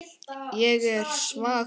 Ég er svag fyrir því.